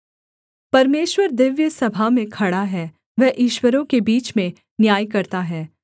परमेश्वर दिव्य सभा में खड़ा है वह ईश्वरों के बीच में न्याय करता है